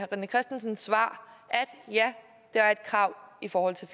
i rené christensens svar at ja det er et krav i forhold til